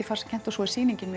farsakennt og svo sýningin